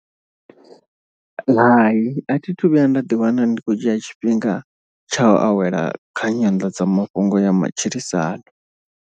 Hai a thi thu vhuya nda ḓiwana ndi khou dzhia tshifhinga tsha u awela kha nyanḓadzamafhungo ya matshilisano.